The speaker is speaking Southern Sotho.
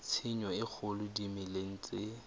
tshenyo e kgolo dimeleng tse